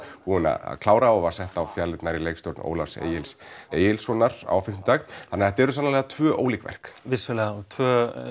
búin að klára og var sett á fjalirnar í leikstjórn Ólafs Egils Egilssonar á fimmtudag þannig þetta eru sannarlega tvö ólík verk vissulega tvö